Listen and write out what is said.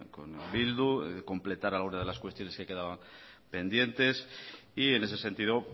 con bildu de completar alguna de las cuestiones que quedaban pendientes y en ese sentido